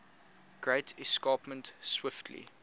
great escarpment swiftly